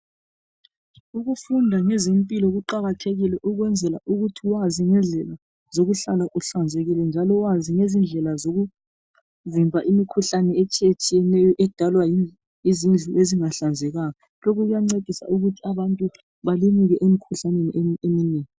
Ukufunda ngezempilo kuqakathekile ukwenzela ukuthi wazi ngendlela zokuhlala, uhlanzekile. Njalo wazi ngezindlela zokuvimba imikhuhlane, etshiyetshiyeneyo, edalwa yizindlu ezingahlanzekanga. Lokhu kuyancedisa ukuthi abantu balimuke imikhuhlane eminengi.